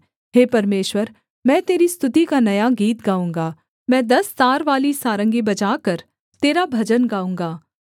हे परमेश्वर मैं तेरी स्तुति का नया गीत गाऊँगा मैं दस तारवाली सारंगी बजाकर तेरा भजन गाऊँगा